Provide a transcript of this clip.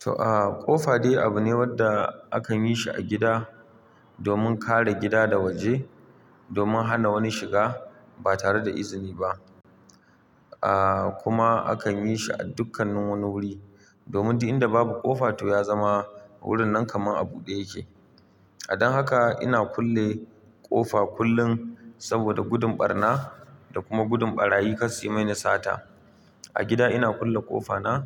To, aaaa ƙofa dai abu ne wanda akan yi shi a gida domin kare gida da waje domin hana wani shiga ba tare da izini ba. Aaaa kuma akan yi shi a dukkanin wani wuri domin dud inda babu ƙofa to ya zama wurin nan kamar a buɗe yake. Dan haka ina kulle ƙofa kullum saboda gudun ɓarna da kuma gudun ɓarayi kas suyi mini sata. A gida ina kulle ƙofa na,